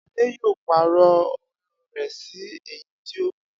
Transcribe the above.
Adé yóò pàrò̩ o̩lo̩ rè̩ sí èyí tí ó mú